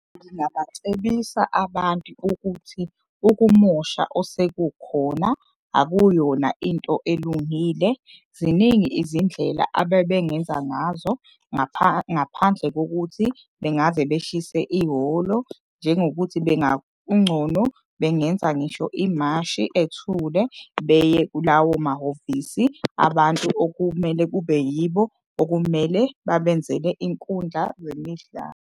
Abantu ukuthi ukumosha osekukhona akuyona into elungile. Ziningi izindlela abebengenza ngazo ngaphandle kokuthi bengaze beshise ihholo. Njengokuthi bengenza ngisho imashi ethule beye kulawo mahhovisi abantu okumele kube yibo. Okumele babenzele inkundla zemidlalo.